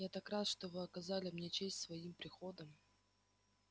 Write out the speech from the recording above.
я так рад что вы оказали мне честь своим приходом